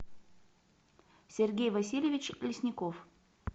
сергей васильевич лесников